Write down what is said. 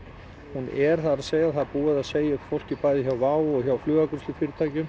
hún er það er búið að segja upp fólki bæði hjá WOW og hjá